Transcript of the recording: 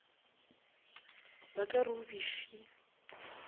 ba ka re o befile